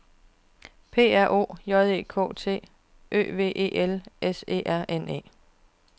P R O J E K T Ø V E L S E R N E